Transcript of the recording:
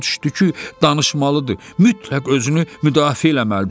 Başa düşdü ki, danışmalıdır, mütləq özünü müdafiə eləməlidir.